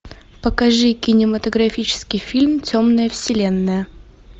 покажи кинематографический фильм темная вселенная